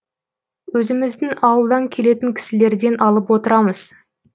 өзіміздің ауылдан келетін кісілерден алып отырамыз